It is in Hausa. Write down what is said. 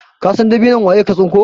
kasan dabinon waye ka tsinko?